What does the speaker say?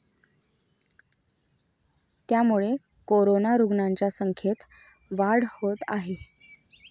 त्यामुळे कोरोना रुग्णांच्या संख्येत वाढ होत आहे.